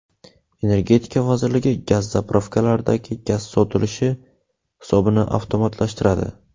Energetika vazirligi gaz-zapravkalardagi gaz sotilishi hisobini avtomatlashtiradi.